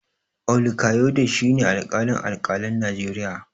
Olukayode shi ne alƙalin alƙalan Najeriya.